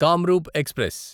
Kamrup express